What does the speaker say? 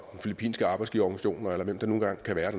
filippinske arbejdsgiverorganisationer eller hvem det nu engang kan være